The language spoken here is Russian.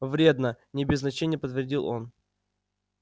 вредно не без значения подтвердил он